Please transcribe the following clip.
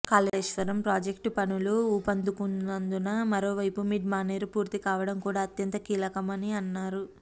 Kaleshwaram project పనులు ఊపందుకున్నందున మరోవైపు మిడ్ మానేరు పూర్తి కావడం కూడా అత్యంత కీలకమని అన్నారు